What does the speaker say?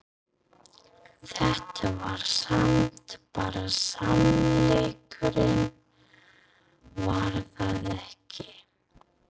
Þetta var samt bara sannleikurinn var það ekki?